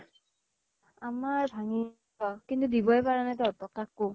আমাৰ ভাঙ্গিল। অ কিন্তু দিবই পাৰা নাই তহঁতক কাকো।